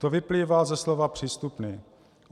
To vyplývá ze slova "přístupný".